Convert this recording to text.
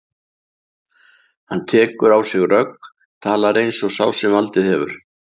Hann tekur á sig rögg, talar eins og sá sem valdið hefur.